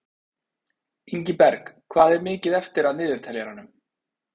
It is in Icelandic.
Ingiberg, hvað er mikið eftir af niðurteljaranum?